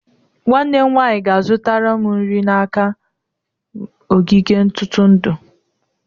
Nwanne m nwanyị ga-azụtara m nri n'aka m ogige ntụrụndụ.